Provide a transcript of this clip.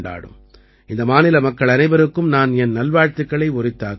இந்த மாநில மக்கள் அனைவருக்கும் நான் என் நல்வாழ்த்துக்களை உரித்தாக்குகிறேன்